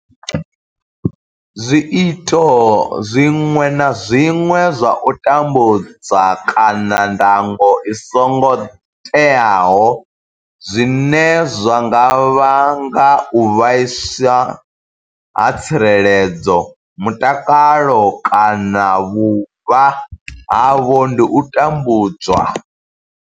Zwiito zwiṅwe na zwiṅwe zwa u tambudza kana ndango i songo teaho zwine zwa nga vhanga u vhaiswa ha tsireledzo, mutakalo kana vhuvha havho ndi u tambudzwa.